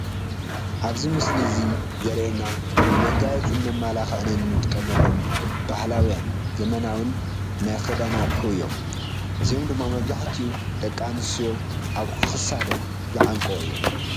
ኣብዚ ምስሊ እዚ ዘሪኤና ንመጋየፅን መመላኽዕን እንጥቀመሎም ባህላውን ዘበናውን ናይ ክሳድ ኣቕሑ እዮም፡፡ እዚኦም ድማ መብዛሕትኡ ደቂ ኣንስትዮ ኣብ ክሳደን ዝዓንቆኦም እዮም፡፡